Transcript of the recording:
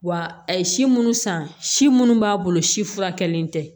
Wa a ye si munnu san si munnu b'a bolo si furakɛlilen tɛ